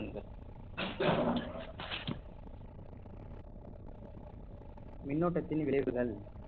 மின்னோட்டத்தின் விளைவுகள்